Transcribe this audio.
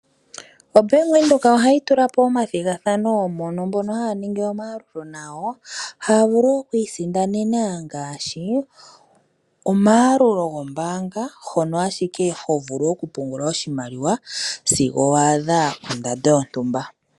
OBank Windhoek ohatyi tula po omathigathano moka mbono haya ningi omayalulo nayo haya vulu okuisindanena ngaashi omayalululo gombaanga hono hovulu ashike okupungula oshimaliwa zigo waadha ondando yontumba.